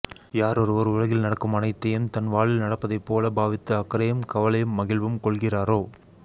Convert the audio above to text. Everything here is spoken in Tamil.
யாரொருவர் உலகில் நடக்கும் அனைத்தையும் தன் வாழ்வில் நடப்பதைப்போல் பாவித்து அக்கரையும் கவலையும் மகிழ்வும் கொள்கிறாரோ